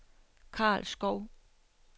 Karl Schou